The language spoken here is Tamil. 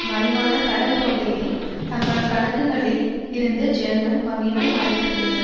மறைவான கடன் தொகையை தங்கள் கணக்குகளில் இருந்து ஜெர்மன் வங்கிகள் மறைத்திருக்கின்றன